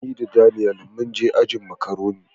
Ni da Daniel mun je ajin "macaroni ".